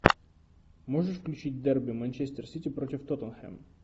можешь включить дерби манчестер сити против тоттенхэм